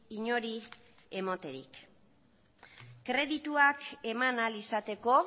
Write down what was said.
inori ematerik kredituak eman ahal izateko